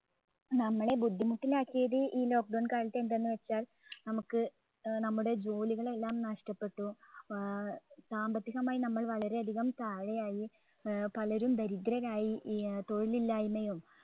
നമ്മളെ ബുദ്ധിമുട്ടിലാക്കിയത് ഈ lockdown കാലത്ത് എന്താന്ന് വെച്ചാല്‍ നമ്മുക്ക് നമ്മുടെ ജോലികൾ എല്ലാം നഷ്ടപ്പെട്ടു ആഹ് സാമ്പത്തികമായി നമ്മൾ വളരെയധികം താഴെയായി ഏർ പലരും ദരിദ്രരായി അഹ് തൊഴിലില്ലായിമയും